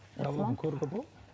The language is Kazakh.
мыналарды көруге бола ма